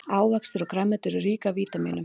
ávextir og grænmeti eru rík af vítamínum